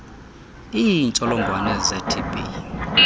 iintsholongwane ze tb